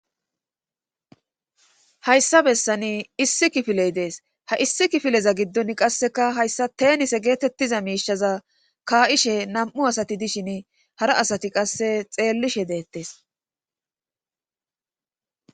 hayssa bessani issi kifiley dees ha issi kifileza giddon qasseka hayssa teenise geetettiza miishaza kaa7ishe nam7u asati dishin hara asati qasse xeellishe deettes